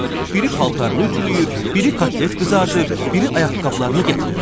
Biri paltarını ütüləyir, biri kotlet qızard, biri ayaqqabılarını gətirirdi.